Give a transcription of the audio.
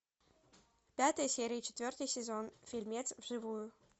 пятая серия четвертый сезон фильмец вживую